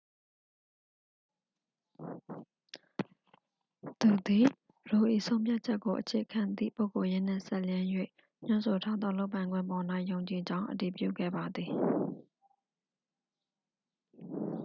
သူသည် roe ၏ဆုံးဖြတ်ချက်ကိုအခြေခံသည့် ပုဂ္ဂိုလ်ရေးနှင့်စပ်လျဉ်း၍ ညွှန်းဆိုထားသောလုပ်ပိုင်ခွင့်ပေါ်၌ ယုံကြည်ကြောင်း အတည်ပြုခဲ့ပါသည်